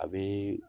A bɛ